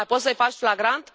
Mai poți să faci flagrant?